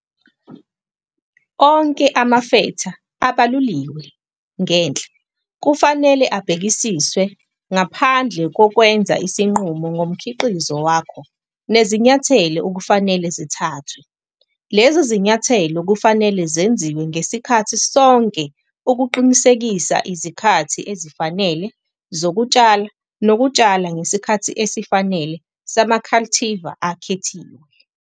Onke amafetha abaluliwe ngenhla kufanele abhekisiswe ngaphambi kokwenza isinqumo ngomkhiqizo wakho nezinyathelo okufanele zithathwe. Lezi zinyathelo kufanele zenziwe ngesikhathi sonke ukuqinisekisa izikhathi ezifanele zokutshala nokutshala ngesikhathi esifanele sama-cultivar akhethiwe.